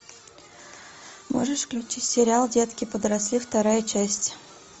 можешь включить сериал детки подросли вторая часть